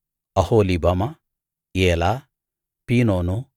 Oholibamah Elah Pinon